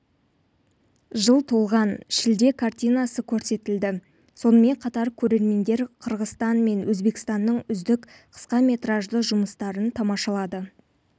жыл толған шілде картинасы көрсетілді сонымен қатар көрермендер қырғызстан мен өзбекстанның үздік қысқаметражды жұмыстарын тамашалады